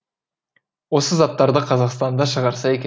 осы заттарды қазақстанда шығарса екен